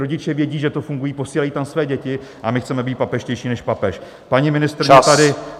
Rodiče vědí, že to funguje, posílají tam své děti, a my chceme být papežštější než papež.